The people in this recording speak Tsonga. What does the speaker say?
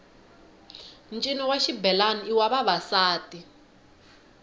ncino wa xibelani i wa vavasati